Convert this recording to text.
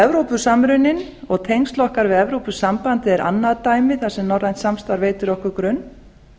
evrópusamruninn og tengsl okkar við evrópusambandið er annað dæmi þar sem norrænt samstarf veitir okkur grunn